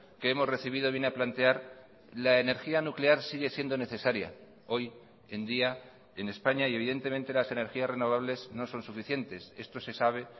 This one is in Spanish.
que hemos recibido viene a plantear la energía nuclear sigue siendo necesaria hoy en día en españa y evidentemente las energías renovables no son suficientes esto se sabe